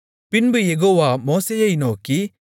பின்பு யெகோவா மோசேயை நோக்கி